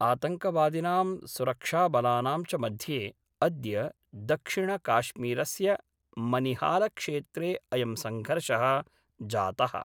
आतङ्कवादिनां सुरक्षाबलानां च मध्ये अद्य दक्षिणकाश्मीरस्य मनिहालक्षेत्रे अयं सङ्घर्षः जातः।